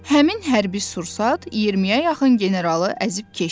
Həmin hərbi sursat 20-yə yaxın generalı əzib keçdi.